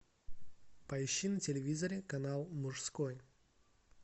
поищи на телевизоре канал мужской